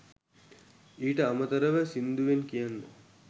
ඊට අමතරව සිංදුවෙන් කියන්න